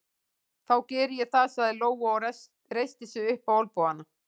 Þá geri ég það, sagði Lóa og reisti sig upp á olnbogana.